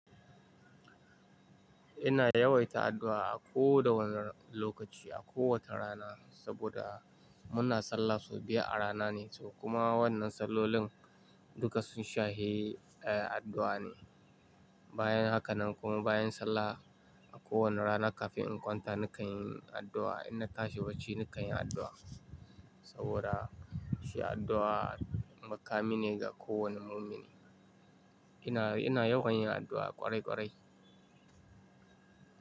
Ina yawaita addu'a a koda wani lokaci, a kowace rana, saboda muna sallah sau biyar a rana ne, kuma wannan sallolin duka sun shahe, eh, addu'a ne. Bayan haka nan kuma bayan sallah a kowane rana kafin in kwanta nakan yi addu'a. In na tashi bacci nakan yi addu'a. Saboda shi addu'a makami ne ga kowane mumini. Ina, ina yawan yin addu'a ƙwarai ƙwarai.